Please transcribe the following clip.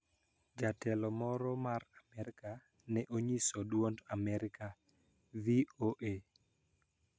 Jatelo moro mar Amerka ne onyiso Duond Amerika (VOA)